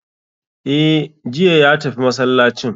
E' jiya ya tafi masallacin